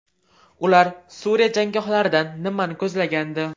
Ular Suriya janggohlaridan nimani ko‘zlagandi?